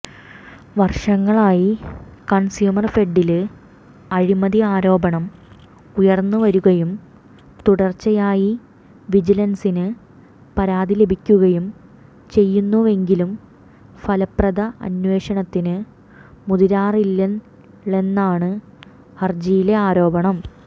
വര്ഷങ്ങളായി കണ്സ്യൂമര്ഫെഡില് അഴിമതി ആരോപണം ഉയര്ന്നുവരുകയും തുടര്ച്ചയായി വിജിലന്സിന് പരാതി ലഭിക്കുകയും ചെയ്യുന്നുവെങ്കിലും ഫലപ്രദ അന്വേഷണത്തിന് മുതിരാറില്ളെന്നാണ് ഹരജിയിലെ ആരോപണം